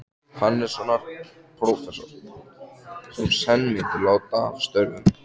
Hannessonar, prófessors, sem senn myndi láta af störfum.